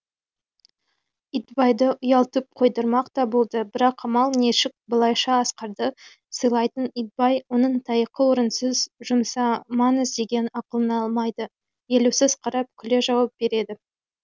итбайды ұялтып қойдырмақ та болды бірақ амал нешік былайша асқарды сыйлайтын итбай оның таяқты орынсыз жұмсамаңыз деген ақылын алмайды елеусіз қарап күле жауап береді